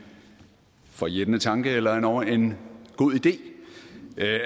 forjættende tanke eller endog en god idé